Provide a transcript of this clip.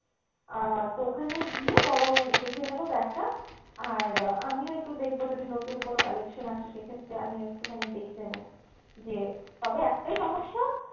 আহ তো ওখানে গিয়ে বরং দেখে নেবো bag টা আর আমিও একটু দেখবো যদি নতুন কোনো collection আসে সেক্ষেত্রে আমিও একটুখানি দেখে নেবো যে তবে একটাই সমস্যা